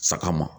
Saga ma